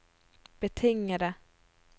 betingede